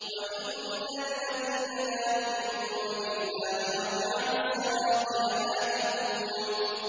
وَإِنَّ الَّذِينَ لَا يُؤْمِنُونَ بِالْآخِرَةِ عَنِ الصِّرَاطِ لَنَاكِبُونَ